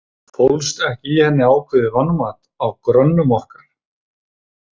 Fólst ekki í henni ákveðið vanmat á grönnum okkar?